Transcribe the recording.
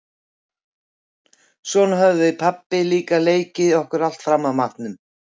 Svona höfðum við pabbi líka leikið okkur alltaf fram að matnum.